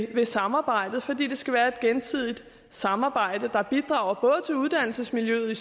ved samarbejdet fordi det skal være et gensidigt samarbejde der bidrager til uddannelsesmiljøet i